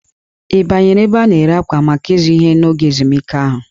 Ị banyere ebe a na-ere akwa maka ịzụ ihe n'oge ezumike ahụ?